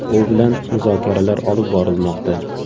U bilan muzokaralar olib borilmoqda.